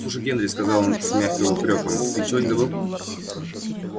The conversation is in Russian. слушай генри сказал он с мягким упрёком ты ничего не забыл